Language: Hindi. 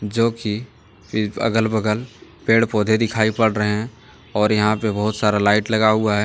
जो कि अगल बगल पेड़ पौधे दिखाई पड़ रहे हैं और यहां पे बहुत सारा लाइट लगा हुआ है।